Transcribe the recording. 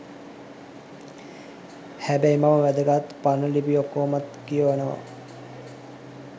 හැබැයි මම වැදගත් පරණ ලිපි ඔක්කොමත් කියවනවා.